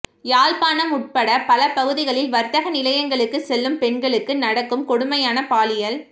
யாழ்ப்பாணம் உட்பட்ட பல பகுதிகளில் வர்த்தக நிலையங்களுக்குச் செல்லும் பெண்களுக்கு நடக்கும் கொடுமையான பாலியல்